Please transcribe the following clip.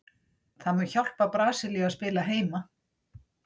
Það mun hjálpa Brasilíu að spila heima.